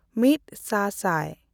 ᱢᱤᱫ ᱥᱟ ᱥᱟᱭ